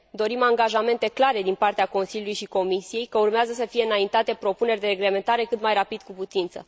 Dorim angajamente clare din partea Consiliului și Comisiei că urmează să fie înaintate propuneri de reglementare cât mai rapid cu putință.